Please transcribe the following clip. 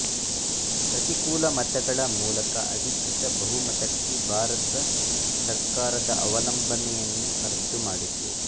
ಪ್ರತಿಕೂಲ ಮತಗಳ ಮೂಲಕ ಅಧಿಕೃತ ಬಹುಮತಕ್ಕೆ ಭಾರತ ಸರ್ಕಾರದ ಅವಲಂಬನೆಯನ್ನು ರದ್ದುಮಾಡಿತು